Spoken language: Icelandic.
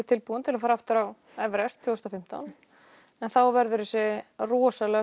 tilbúin til að fara aftur á Everest tvö þúsund og fimmtán en þá verður þessi rosalega